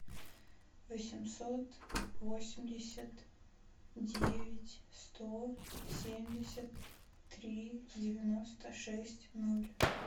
восемьсот восемьдесят девять сто семьдесят три девяносто шесть ноль